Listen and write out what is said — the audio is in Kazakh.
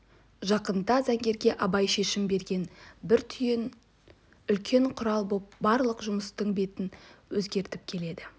жақында заңгерге абай шешіп берген бір түйін үлкен құрал боп барлық жұмыстың бетін өзгертіп келеді